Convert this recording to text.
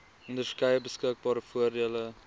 onderskeie beskikbare voordele